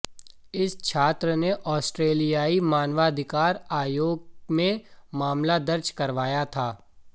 इस छात्र ने आस्ट्रेलियाई मानवाधिकार आयोग में मामला दर्ज करवाया था